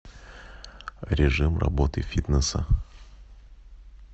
режим работы фитнеса